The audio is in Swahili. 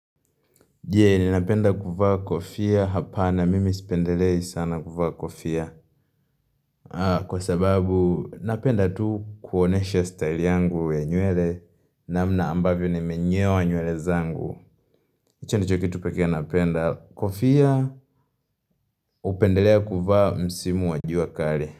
Je, ninapenda kuvaa kofia hapana mimi sipendelei sana kuvaa kofia Kwa sababu, napenda tu kuonyesha style yangu ya nywele namna ambavyo nimenyoa nywele zangu hicho ndicho kitu pekee napenda kofia upendelea kuvaa msimu wajua kali.